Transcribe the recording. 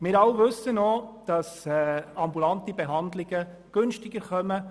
Wir alle wissen auch, dass ambulante Behandlungen günstiger sind.